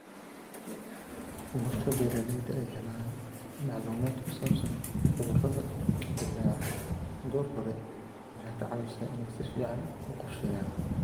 Marka beeralayda ay helaan macluumaadka ku saabsan cudurrada dillaaca goor hore, waxay ka caawisaa inay si fiican u qorsheeyaan.